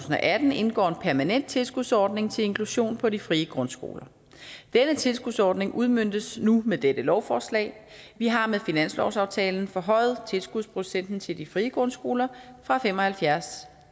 atten indgår en permanent tilskudsordning til inklusion på de frie grundskoler denne tilskudsordning udmøntes nu med dette lovforslag vi har med finanslovsaftalen forhøjet tilskudsprocenten til de frie grundskoler fra fem og halvfjerds